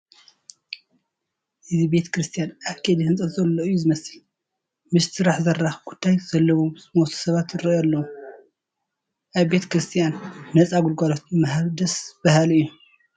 እዚ ቤተ ክርስቲያን ኣብ ከይዲ ህንፀት ዘሎ እዩ ዝመስል፡፡ ምስቲ ስራሕ ዘራኽብ ጉዳይ ዘለዎም ዝመስሉ ሰባት ይርአዩ ኣለዉ፡፡ ኣብ ቤተ ክርስቲያን ነፃ ግልጋሎት ምሃብ ደስ በሃሊ እዩ፡፡